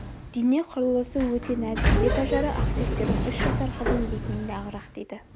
дене құрылысы өте нәзік бет ажары ақсүйектердің үш жасар қызының бетінен де ағырақ дейді